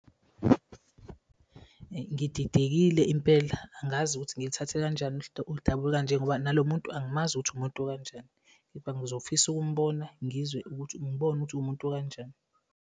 Ngididekile impela, angazi ukuthi ngilithathe kanjani udaba olukanje ngoba nalo muntu angimazi ukuthi umuntu okanjani kepha ngizofisa ukumbona ngizwe ngibone ukuthi uwumuntu okanjani.